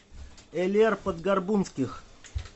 элер подгорбунских